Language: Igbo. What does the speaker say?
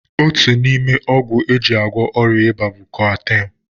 Otu n'ime ọgwụ e ji agwọ ọrịa ịba bụ koatem.